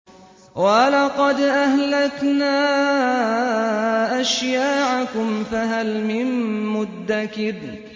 وَلَقَدْ أَهْلَكْنَا أَشْيَاعَكُمْ فَهَلْ مِن مُّدَّكِرٍ